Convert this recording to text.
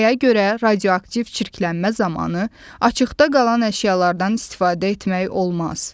Nəyə görə radioaktiv çirklənmə zamanı açıqda qalan əşyalardan istifadə etmək olmaz?